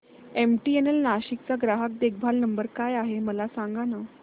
MTNL Nashik चा ग्राहक देखभाल नंबर काय आहे मला सांगाना